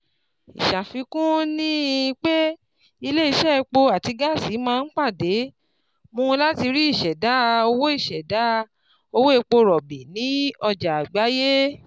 Ìṣàfikún ní pé ilé-iṣẹ́ epo àti gáàsì máa ń p̣àde mú lati rí ìṣèdá owó ìṣèdá owó epo rọ̀bì ní ọjà àgbáyé.